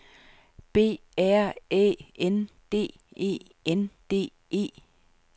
B R Æ N D E N D E